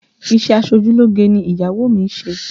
Isẹ aṣojúlógé ni ìyàwó mi ń ṣe